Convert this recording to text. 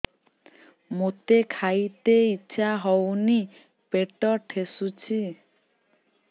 ମୋତେ ଖାଇତେ ଇଚ୍ଛା ହଉନି ପେଟ ଠେସୁଛି